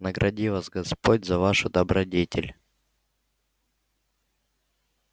награди вас господь за вашу добродетель